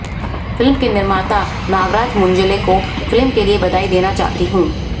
film के निर्माता नागराज मंजुले को फिल्म के लिए बधाई देना चाहती हूं